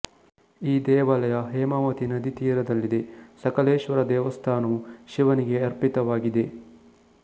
ಈ ದೇವಾಲಯ ಹೇಮಾವತಿ ನದಿ ತೀರದಲ್ಲಿದೆ ಸಕಲೇಶ್ವರ ದೇವಸ್ಥಾನವು ಶಿವನಿಗೆ ಅರ್ಪಿತವಾಗಿದೆ